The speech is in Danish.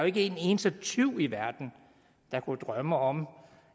ikke en eneste tyv i verden der kunne drømme om